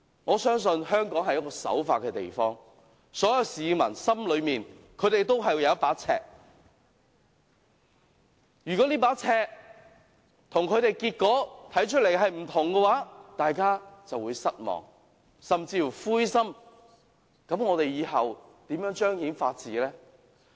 我相信香港是個人人守法的地方，所有市民心裏都有一把尺，如果這把尺跟結果看起來不同，大家便會失望，甚至灰心，那麼我們以後如何相信法治？